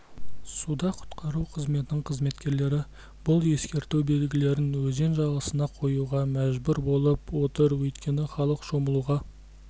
суда құтқару қызметінің қызметкерлері бұл ескерту белгілерін өзен жағасына қоюға мәжбүр болып отыр өйткені халық шомылуға